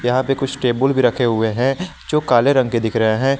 यहां पर कुछ टेबुल भी रखे हुए हैं जो काले रंग के दिख रहे हैं।